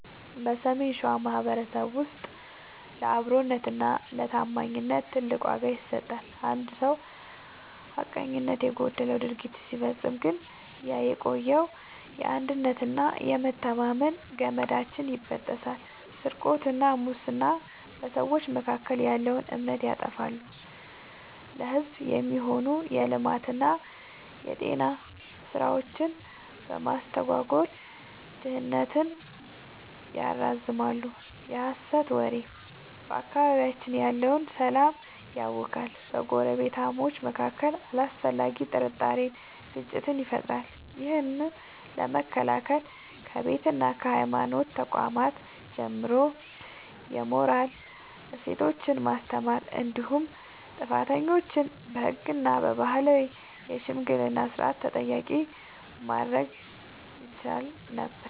በሰሜን ሸዋ ማኅበረሰባችን ውስጥ ለአብሮነትና ለታማኝነት ትልቅ ዋጋ ይሰጣል። አንድ ሰው ሐቀኝነት የጎደለው ድርጊት ሲፈጽም ግን ያ የቆየው የአንድነትና የመተማመን ገመዳችን ይበጠሳል። ስርቆትና ሙስና፦ በሰዎች መካከል ያለውን እምነት ያጠፋሉ፤ ለሕዝብ የሚሆኑ የልማትና የጤና ሥራዎችን በማስተጓጎል ድህነትን ያራዝማሉ። የሐሰት ወሬ፦ በአካባቢያችን ያለውን ሰላም ያውካል፤ በጎረቤታማቾች መካከል አላስፈላጊ ጥርጣሬንና ግጭትን ይፈጥራል። ይህን ለመከላከል ከቤትና ከሃይማኖት ተቋማት ጀምሮ የሞራል እሴቶችን ማስተማር እንዲሁም ጥፋተኞችን በሕግና በባህላዊ የሽምግልና ሥርዓት ተጠያቂ ማድረግ ይቻል ነበር።